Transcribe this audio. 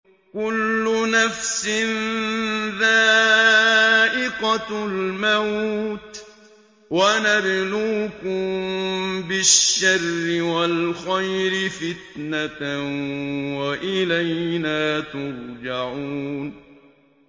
كُلُّ نَفْسٍ ذَائِقَةُ الْمَوْتِ ۗ وَنَبْلُوكُم بِالشَّرِّ وَالْخَيْرِ فِتْنَةً ۖ وَإِلَيْنَا تُرْجَعُونَ